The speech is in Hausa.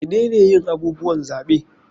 Menene yin abubuwan zaɓe?